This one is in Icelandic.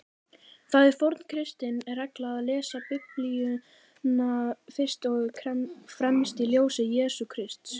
Það er forn kristin regla að lesa Biblíuna fyrst og fremst í ljósi Jesú Krists.